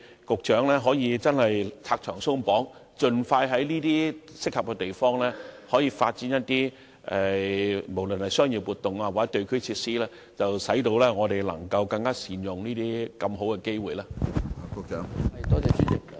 局長可否拆牆鬆綁，盡快在適合的地方發展商業活動以至地區設施，藉以更加善用這些大好機會？